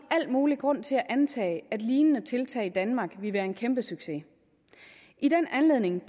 mulig grund til at antage at lignende tiltag i danmark vil være en kæmpe succes i den anledning